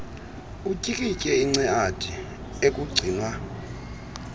utyikitye inceadi ekugcinwa